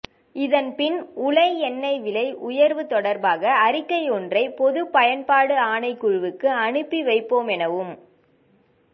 இதன் பின் உலை எண்ணெய் விலை உயர்வு தொடர்பாக அறிக்கையொன்றை பொதுப் பயன்பாடு ஆணைக்குழுவுக்கு அனுப்பிவைப்போமெனவு